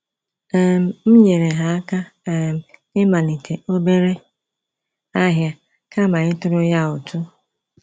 um M nyere ha aka um ịmalite obere ahịa kama ịtụrụ ya ụtụ